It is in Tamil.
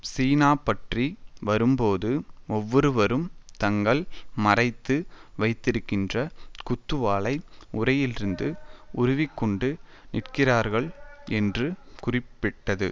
சீனா பற்றி வரும்போது ஒவ்வொருவரும் தாங்கள் மறைத்து வைத்திருக்கின்ற குத்துவாளை உறையிலிருந்து உருவிக்கொண்டு நிற்கிறார்கள் என்று குறிப்பிட்டது